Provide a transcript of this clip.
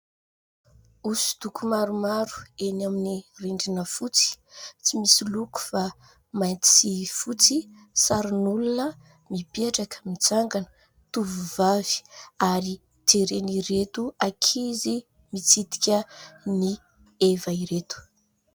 Hoso-doko maromaro eny amin'ny rindrina fotsy ; tsy misy loko fa mainty sy fotsy , sarin'olona mipetraka, mitsangana, tovovavy ary jeren'ireto ankizy mitsidika ny heva ireto.